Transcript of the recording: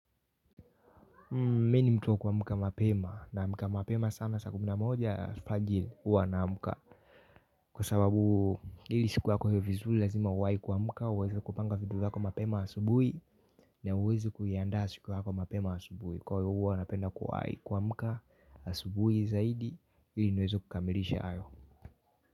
Mimi ni mtu wa kuamka mapema naamka mapema sana saa kumi na moja alfajiri huwa naamka kwa sababu ili siku yako iwe vizuri lazima uwahi kuamka uweze kupanga vitu zako mapema asubuhi na uweze kuiandaa siku yako mapema asubuhi kwa hivyo huwa napenda kuwahi kuamka asubuhi zaidi ili niweze kukamilisha hayo.